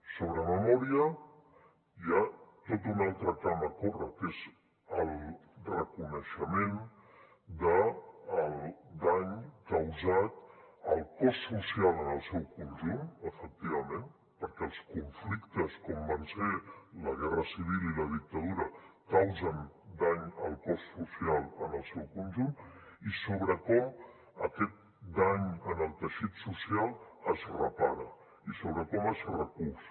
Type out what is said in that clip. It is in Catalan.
sobre memòria hi ha tot un altre camp a córrer que és el reconeixement del dany causat al cos social en el seu conjunt efectivament perquè els conflictes com van ser la guerra civil i la dictadura causen dany al cos social en el seu conjunt i sobre com aquest dany en el teixit social es repara i sobre com es recús